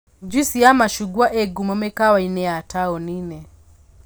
Njuici ya macungwa ĩ ngumo mĩkawa-inĩ ya taũni-inĩ